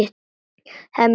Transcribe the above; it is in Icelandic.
Hemmi kímir.